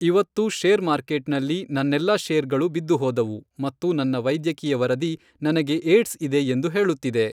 ಇವತ್ತು share market ನಲ್ಲಿ ನನ್ನೆಲ್ಲಾ ಶೇರ್ ಗಳು ಬಿದ್ದು ಹೋದವು ಮತ್ತು ನನ್ನ ವೈದ್ಯಕೀಯ ವರದಿ ನನಗೆ ಏಡ್ಸ್ ಇದೆ ಎಂದು ಹೇಳುತ್ತಿದೆ.